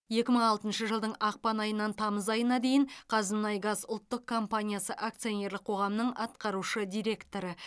екі мың алтыншы жылдың ақпан айынан тамыз айына дейін қазмұнайгаз ұлттық компаниясы акционерлік қоғамының атқарушы директоры